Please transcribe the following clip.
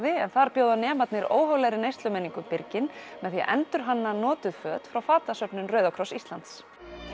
en þar bjóða nemarnir óhóflegri neyslumenningu birginn með því að endurhanna notuð föt frá fatasöfnun Rauðakross Íslands